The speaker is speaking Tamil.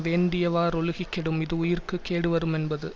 வேண்டியவாறொழுகிக் கெடும் இஃது உயிர்க்கு கேடு வருமென்பது